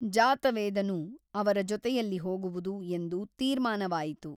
ಜಾತವೇದನು ಅವರ ಜೊತೆಯಲ್ಲಿ ಹೋಗುವುದು ಎಂದು ತೀರ್ಮಾನವಾಯಿತು.